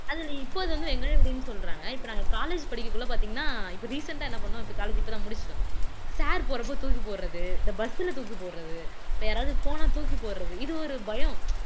இதுல இப்போது வந்து வெங்காய வெடின்னு சொல்றாங்க இப்ப நாங்க college படிக்கக்குள்ள பார்த்தீங்கன்னா இப்ப recent ஆ என்ன பண்ணோம் இப்ப college இப்பதான் முடிச்சுட்டு வந்தோம் sir போறப்போ தூக்கி போடுறது இந்த bus ல தூக்கி போடுறது யாராவது போனால் தூக்கி போடுறது இது ஒரு பயம்